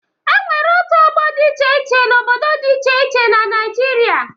E nwere òtù ọgbọ dị iche iche n'obodo dị iche iche na Naịjirịa.